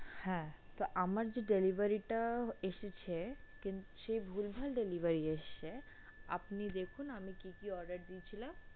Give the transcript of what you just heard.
হ্যাঁ তো আমার যে delivery টা এসেছে সে ভুলভাল delivery এসছে আপনি দেখুন আমি কী কী order দিয়েছিলাম।